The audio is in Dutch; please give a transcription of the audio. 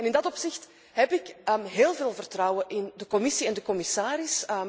In dat opzicht heb ik heel veel vertrouwen in de Commissie en de commissaris.